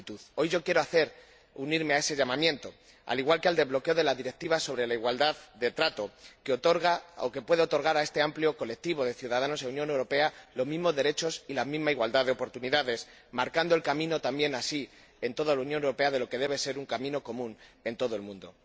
Hoy yo quiero unirme a ese llamamiento, al igual que al relativo al bloqueo de la Directiva sobre igualdad de trato, que otorga o que puede otorgar a este amplio colectivo de ciudadanos en la Unión Europea los mismos derechos y la misma igualdad de oportunidades, marcando el camino también así en toda la Unión Europea de lo que debe ser un camino común en todo el mundo.